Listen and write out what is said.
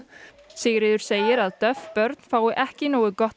Sigríður segir að börn fái ekki nógu gott